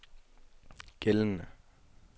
gældende